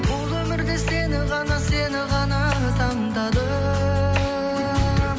бұл өмірде сені ғана сені ғана таңдадым